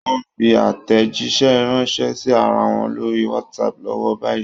Wọ́n ń fi àtèjíṣẹ́ ránṣẹ́ sí ara wọn lórí WhatsApp lọ́wọ́ báyìí.